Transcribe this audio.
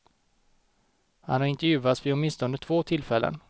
Han har intervjuats vid åtminstone två tillfällen.